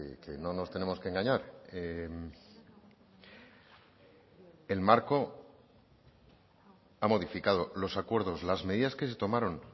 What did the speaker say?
que no nos tenemos que engañar el marco ha modificado los acuerdos las medidas que se tomaron